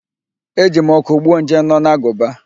E ji m ọkụ gbuo nje nọ n'agụba